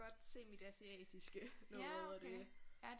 Godt se mit asiatiske noget og det